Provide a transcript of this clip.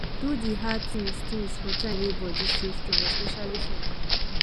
do di hard things things for time wey body still strong especially for morning